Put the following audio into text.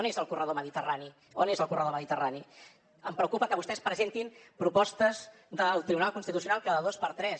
on és el corredor mediterrani on és el corredor mediterrani em preocupa que vostès presentin propostes del tribunal constitucional cada dos per tres